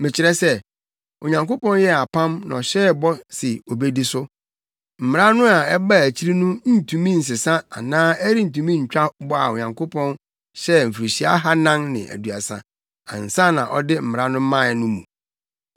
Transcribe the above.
Mekyerɛ sɛ: Onyankopɔn yɛɛ apam na ɔhyɛɛ bɔ se obedi so. Mmara no a ɛbaa akyiri no ntumi nsesa anaa ɛrentumi ntwa bɔ a Onyankopɔn hyɛɛ mfirihyia ahannan ne aduasa ansa na ɔde Mmara no mae, no mu.